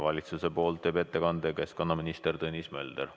Valitsuse nimel teeb ettekande keskkonnaminister Tõnis Mölder.